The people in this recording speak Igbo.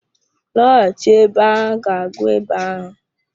Lọghachi ebe a ga gwọọ ịba ahụ.